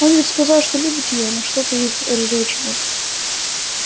он ведь сказал что любит её но что-то их разлучило